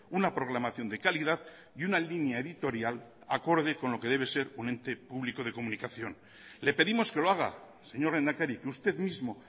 una programación de calidad y una línea editorial acorde con lo que debe ser un ente público de comunicación le pedimos que lo haga señor lehendakari que usted mismo